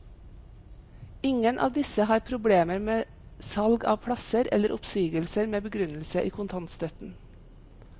Ingen av disse har problemer med salgav plasser eller oppsigelser med begrunnelse i kontantstøtten.